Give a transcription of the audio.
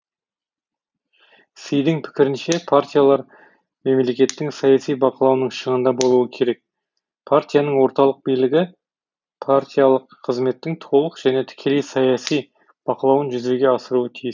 сидің пікірінше партиялар мемлекеттің саяси бақылауының шыңында болуы керек партияның орталық билігі партиялық қызметтің толық және тікелей саяси бақылауын жүзеге асыруға тиіс